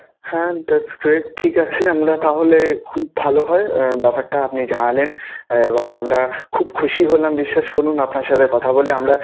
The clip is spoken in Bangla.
হ্যাঁ that's great ঠিক আছে! আমরা তাহলে খুব ভালো হয় ব্যাপারটা আপনি জানালেন এবং আমরা খুব খুশি হলাম বিশ্বাস করুন আপনার সাথে কথা বলে আমরা.